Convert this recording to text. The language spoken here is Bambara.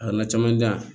A nana caman jan